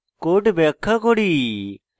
code ব্যাখ্যা করি